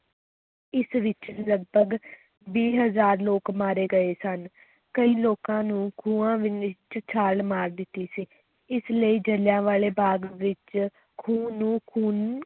ਇਸ ਵਿਚ ਲਗਪਗ ਵੀਹ ਹਜ਼ਾਰ ਲੋਕ ਮਾਰੇ ਗਏ ਸਨ, ਕਈ ਲੋਕਾਂ ਨੂੰ ਖੂਹਾਂ ਦੇ ਵਿੱਚ ਛਾਲ ਮਾਰ ਦਿੱਤੀ ਸੀ, ਇਸ ਲਈ ਜਿਲ੍ਹਿਆਂਵਾਲੇ ਬਾਗ ਵਿੱਚ ਖੂਹ ਨੂੰ ਖੂਨ